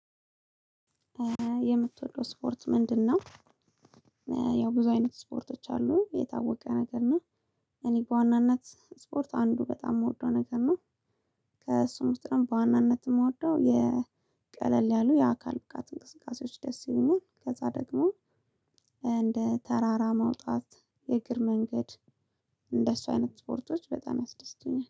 የምትወደው ስፖርት ምንድነው ያው ብዙ አይነት ስፖርቶች አሉ የታወቀ ነገር ነው። እኔ በዋናነት ስፖርት አንዱ በጣም ምወደው ነገር ነው። ከእሱ ውስጥ ነው በዋናነት የምወደው የቀለል ያሉ የአካል ብቃት እንቅስቃሴዎች ደስ ይሉኛል ከዛ ደግሞ እንደ ተራራ መውጣት የእግር መንገድ እንደሱ አይነት ስፖርቶች በጣም ያስደስቱኛል።